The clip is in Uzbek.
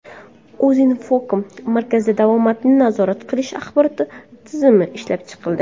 Uzinfocom markazida Davomatni nazorat qilish axborot tizimi ishlab chiqildi.